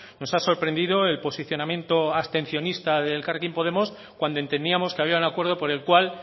nos ha sorprendido el posicionamiento abstencionista de elkarrekin podemos cuando entendíamos que había un acuerdo por el cual